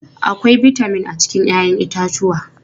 Akwai bitamin a cikin 'ya'yan itatuwa.